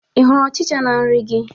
Ị hụrụ Ọchịcha na nri gị?